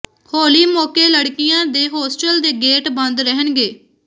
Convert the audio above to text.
ਹੋਲੀ ਮੌਕੇ ਲੜਕੀਆਂ ਦੇ ਹੋਸਟਲ ਦੇ ਗੇਟ ਬੰਦ ਰਹਿਣਗੇ